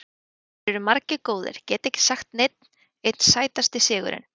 Þeir eru margir góðir, get ekki sagt neinn einn Sætasti sigurinn?